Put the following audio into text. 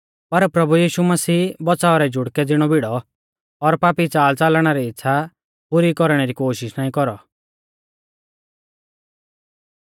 पर प्रभु यीशु मसीह बच़ाव रै जुड़कै ज़िणौ भिड़ौ और पापी च़ालच़लणा री इच़्छ़ा पुरी कौरणै री कोशिष नाईं कौरौ